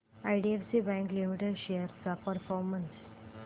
IDFC bank limited shares चा performance